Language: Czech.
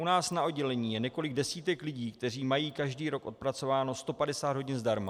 U nás na oddělení je několik desítek lidí, kteří mají každý rok odpracováno 150 hodin zdarma.